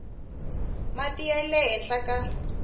mati ya le henhla ka